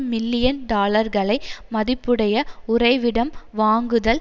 million டாலர்களை மதிப்புடைய உறைவிடம் வாங்குதல்